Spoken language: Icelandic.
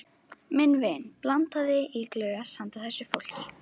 Minn vin blandaði í glös handa þessu fólki.